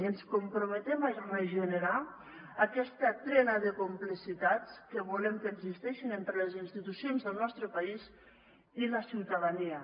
i ens comprometem a regenerar aquesta trena de complicitats que volem que existeixi entre les institucions del nostre país i la ciutadania